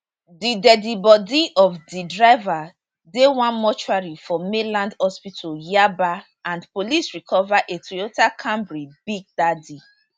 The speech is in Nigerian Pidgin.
di deadi body of di driver dey one mortuary for mainland hospital yaba and police recover a toyota camry big daddy